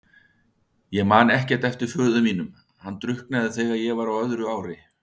Ég man ekkert eftir föður mínum, hann drukknaði þegar ég var á öðru ári.